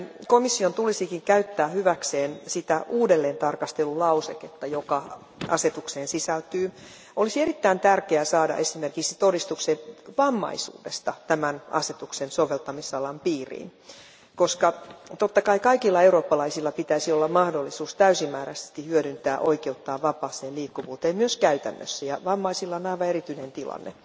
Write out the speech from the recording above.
Komission tulisikin käyttää hyväkseen sitä uudelleentarkastelulauseketta, joka asetukseen sisältyy. Olisi erittäin tärkeää saada esimerkiksi todistukset vammaisuudesta tämän asetuksen soveltamisalan piiriin, koska totta kai kaikilla eurooppalaisilla pitäisi olla mahdollisuus täysimääräisesti hyödyntää oikeuttaan vapaaseen liikkuvuuteen myös käytännössä, ja vammaisilla on aivan erityinen tilanne.